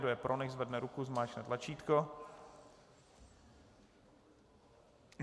Kdo je pro, nechť zvedne ruku, zmáčkne tlačítko.